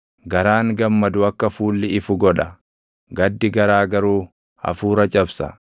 Garaan gammadu akka fuulli ifu godha; gaddi garaa garuu hafuura cabsa.